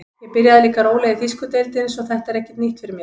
Ég byrjaði líka rólega í þýsku deildinni svo þetta er ekki nýtt fyrir mér.